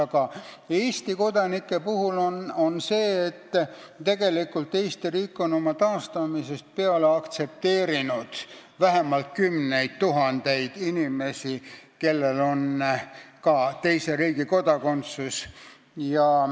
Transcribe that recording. Aga Eesti kodanike puhul on nii, et Eesti riik on enda taastamisest peale aktsepteerinud vähemalt kümneid tuhandeid inimesi, kellel on ka teise riigi kodakondsus.